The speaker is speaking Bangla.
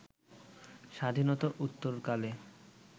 স্বাধীনতা উত্তরকালে